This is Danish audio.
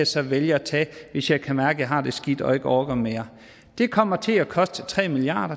så vælge at tage hvis jeg kan mærke har det skidt og ikke orker mere det kommer til at koste tre milliard